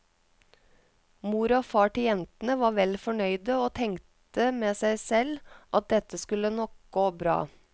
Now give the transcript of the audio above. Mor og far til jentene var vel fornøyde og tenkte med seg selv at dette skulle nok gå bra.